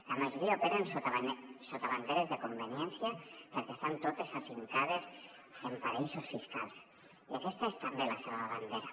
la majoria operen sota banderes de conveniència perquè estan totes afincades en paradisos fiscals i aquesta és també la seva bandera